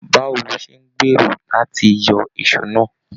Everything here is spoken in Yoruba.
Báwo ló ṣe n gbéró láti yọ èsó náà?